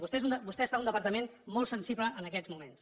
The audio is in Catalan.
vostè està en un departament molt sensible en aquests moments